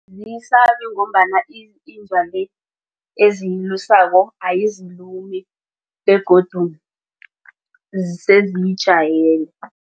Aziyisabi ngomabana eziyilusako ayizilumi begodu seziyijayele.